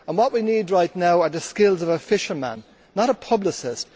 What we need right now are the skills of a fisherman, not of a publicist.